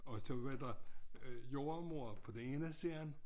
Og så var der øh jordemoder på den ene side